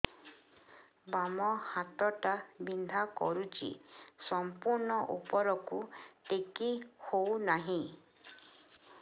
ବାମ ହାତ ଟା ବିନ୍ଧା କରୁଛି ସମ୍ପୂର୍ଣ ଉପରକୁ ଟେକି ହୋଉନାହିଁ